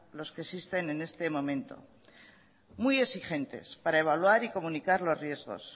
los que existen en este momento muy exigentes para evaluar y comunicar los riesgos